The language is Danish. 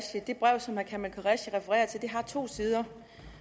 det brev som herre kamal qureshi refererer til har to sider